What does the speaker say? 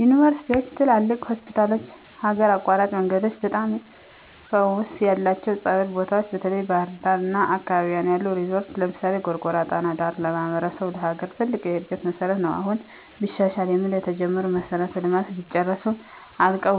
ዩንቨርስቲዎች፣ ትላልቅ ሆስፒታሎች፣ ሀገር አቋራጭ መንገዶች፣ በጣም ፈውስ ያለባቸው ፀበል ቦታዎች፣ በተለይ በባሕር ዳር አና አካባቢዋ ያሉ ሪዞረቶች ለምሳሌ፦ ጎርጎራ ጣና ዳር ለማሕበረሰቡም ለሀገርም ትልቅ የእድገት መሠረት ነው። አሁን ቢሻሻል የምንለው የተጀመሩ መሠረተ ልማቶች ቢጨረሱ፣ አልቀው